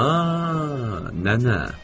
Aa, Nana.